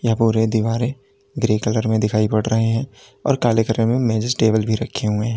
और यह दीवारे ग्रे कलर में दिखाई पड़ रहे हैं और काले कलर में मेजेज टेबल भी रखे हुए हैं।